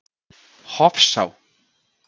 Hofsá